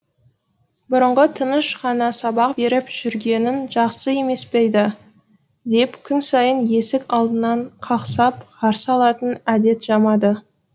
бұрынғы тыныш қана сабақ беріп жүргенің жақсы емес па еді деп күн сайын есік алдынан қақсап қарсы алатын әдет жамады